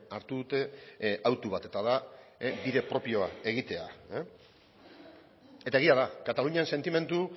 hartu dute hautu bat eta da bide propioa egitea eta egia da katalunian sentimendu